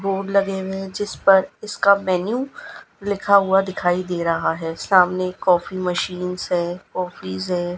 Board लगे हुए हैं जिसपर इसका मेनू लिखा हुआ दिखाई दे रहा है सामने कॉफी मशीन्स है कॉफीज है।